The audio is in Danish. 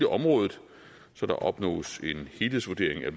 området så der opnås en helhedsvurdering af